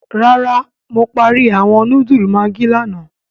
Rárá Mo parí awọn núdúlù maggi lààná